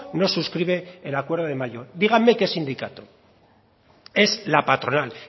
no suscribe el acuerdo de mayo díganme qué sindicato es la patronal